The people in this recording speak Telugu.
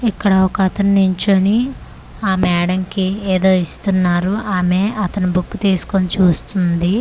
ఇక్కడ ఒకతను నించోని ఆ మేడంకి ఏదో ఇస్తున్నారు ఆమె అతని బుక్ తీస్కొని చూస్తుంది.